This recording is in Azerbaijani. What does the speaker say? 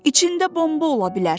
İçində bomba ola bilər.